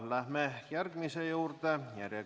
Läheme järgmise küsimuse juurde.